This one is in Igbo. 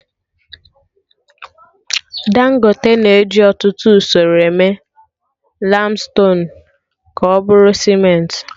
Dangote na eji ọtụtụ usoro eme laimstonuu ka ọ bụrụ Sementị